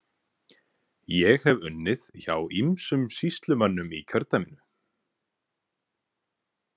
Ég hef unnið hjá ýmsum sýslumönnum í kjördæminu.